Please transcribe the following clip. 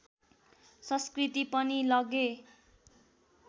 संस्कृति पनि लगे